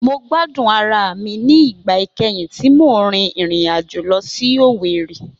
Mo gbadun ara mi ni igba ikẹhin ti mo rin irin ajo lọ si Owerri.